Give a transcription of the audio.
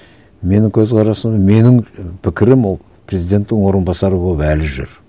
менің көзқарасым менің пікірім ол президенттің орынбасары болып әлі жүр